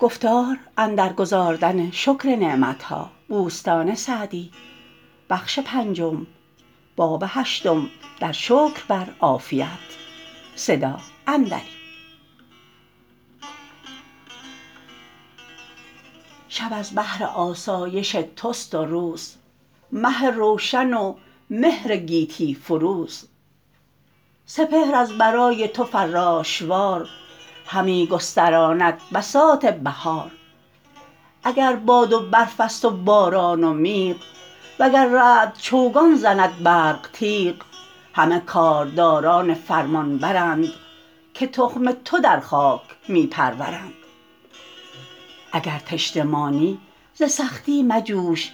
شب از بهر آسایش توست و روز مه روشن و مهر گیتی فروز سپهر از برای تو فراش وار همی گستراند بساط بهار اگر باد و برف است و باران و میغ وگر رعد چوگان زند برق تیغ همه کارداران فرمانبر ند که تخم تو در خاک می پرورند اگر تشنه مانی ز سختی مجوش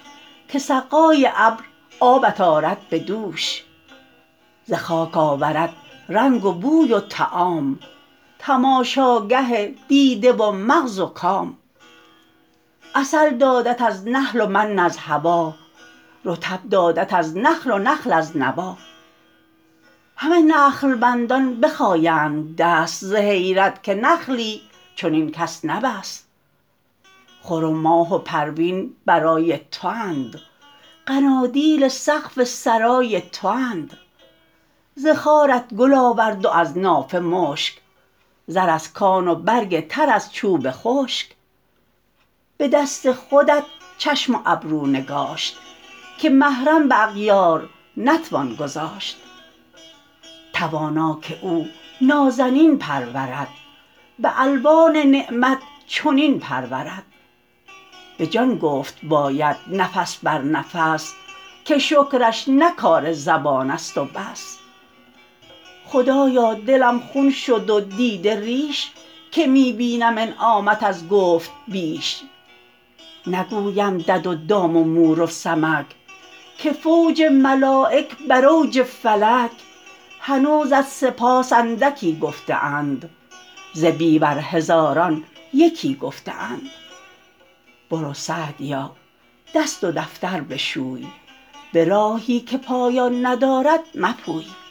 که سقای ابر آبت آرد به دوش ز خاک آورد رنگ و بوی و طعام تماشاگه دیده و مغز و کام عسل دادت از نحل و من از هوا رطب دادت از نخل و نخل از نوی همه نخل بندان بخایند دست ز حیرت که نخلی چنین کس نبست خور و ماه و پروین برای تواند قنادیل سقف سرای تواند ز خارت گل آورد و از نافه مشک زر از کان و برگ تر از چوب خشک به دست خودت چشم و ابرو نگاشت که محرم به اغیار نتوان گذاشت توانا که او نازنین پرورد به الوان نعمت چنین پرورد به جان گفت باید نفس بر نفس که شکرش نه کار زبان است و بس خدایا دلم خون شد و دیده ریش که می بینم انعامت از گفت بیش نگویم دد و دام و مور و سمک که فوج ملایک بر اوج فلک هنوزت سپاس اندکی گفته اند ز بیور هزاران یکی گفته اند برو سعدیا دست و دفتر بشوی به راهی که پایان ندارد مپوی